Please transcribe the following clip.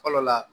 Fɔlɔ la